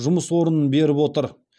жұмыс орнын беріп отыр